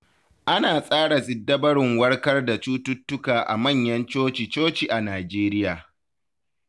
Ana tsara siddabarun warkar da cututtuka a manyan coci-coci a Nijeriya.